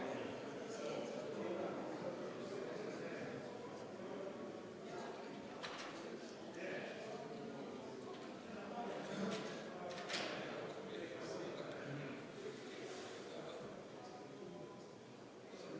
Kõigepealt palun kontrollida hääletamiskasti ja seda, et turvaplomm hääletamiskastil poleks rikutud.